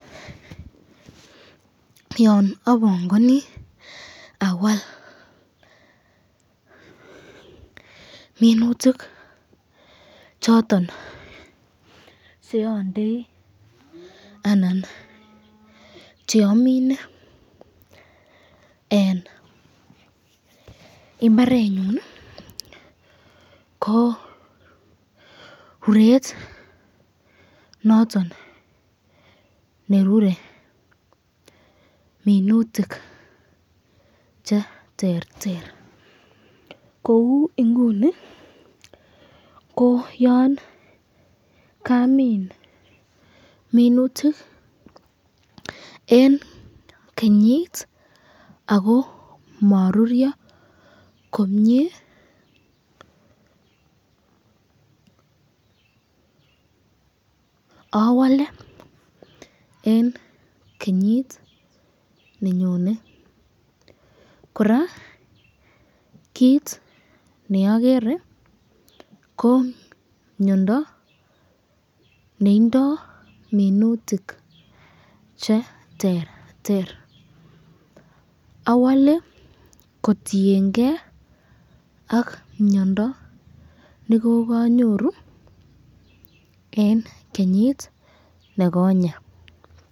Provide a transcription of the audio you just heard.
Yon abangngani awal minutik choton cheandei anan cheamine eng imbarenyun ko ruret noton nerure minutik cheterter, kou inguni ko yon kamin minutik eng kenyit ako maruryo komnye awake eng kenyit nenyone, koraa kit neagere ko mnyondo neindo minutik cheterter ,awake kotienke ak mnyando nekoknyoru eng kenyit nekonye.